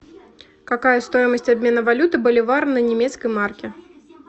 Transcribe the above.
какая стоимость обмена валюты боливар на немецкие марки